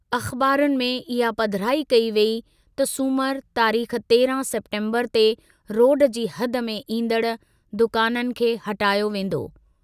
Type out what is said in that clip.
अख़बारुनि में इहा पधिराई कई वेई त सूमर तारीख 13 सेप्टेम्बर ते रोड जी हद में ईन्दड़ दुकाननि खे हटायो वेन्दो।